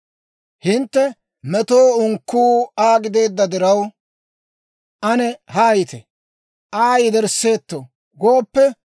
«Hintte, ‹Metoo unkkuu Aa gideedda diraw, ane haayite! Aa yedersseetto!› gooppe,